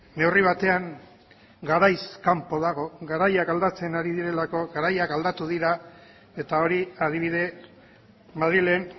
neurri batean garaiz kanpo dago garaiak aldatzen ari direlako garaiak aldatu dira eta hori adibide madrilen